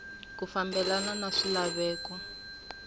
ku fambelena na swilaveko swa